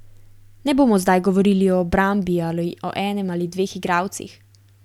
Ne bomo zdaj govorili o obrambi ali o enem ali dveh igralcih.